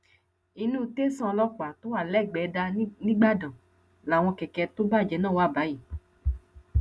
inú tẹsán ọlọpàá tó wà lẹgbẹdà nígbàdàn làwọn kẹkẹ tó bàjẹ náà wà báyìí